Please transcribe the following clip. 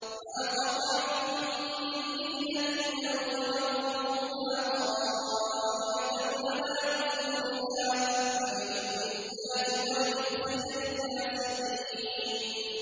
مَا قَطَعْتُم مِّن لِّينَةٍ أَوْ تَرَكْتُمُوهَا قَائِمَةً عَلَىٰ أُصُولِهَا فَبِإِذْنِ اللَّهِ وَلِيُخْزِيَ الْفَاسِقِينَ